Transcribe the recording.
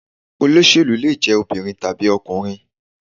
Olóṣèlú lè jẹ́ obìnrin tàbí ọkùnrin.